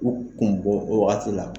U kun bɔ wagati la.